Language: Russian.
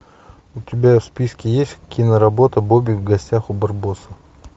у тебя в списке есть киноработа бобик в гостях у барбоса